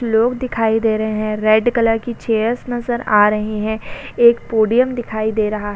लोग दिखाई दे रहे हैं। रेड कलर की चेयरस नजर आ रही हैं। एक पोडियम दिखाई दे रहा है।